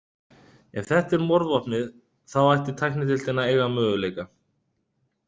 Ef þetta er morðvopnið, þá ætti tæknideildin að eiga möguleika.